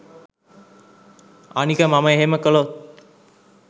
අනික මම එහෙම කළොත්